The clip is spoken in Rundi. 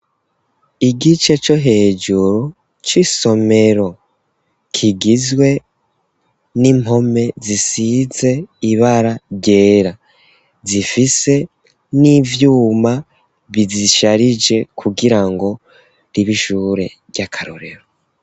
Igice co hejuru c'isomero kigizwe n'impome zisize ibara ryera, zifise n'ivyuma bizisharije kugirango ribe ishure ry'akarorero.